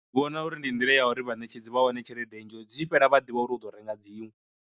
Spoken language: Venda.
Vhona uri ndi nḓila ya uri vhanetshedzi vha wane tshelede nnzhi ngori dzi tshi fhela vhaḓivha uri u ḓo renga dziṅwe.